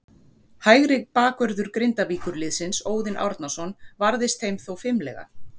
Hægri bakvörður Grindavíkurliðsins, Óðinn Árnason, varðist þeim þó fimlega.